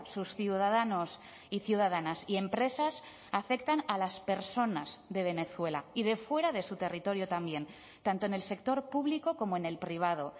sus ciudadanos y ciudadanas y empresas afectan a las personas de venezuela y de fuera de su territorio también tanto en el sector público como en el privado